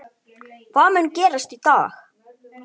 Hvað mun gerast í dag?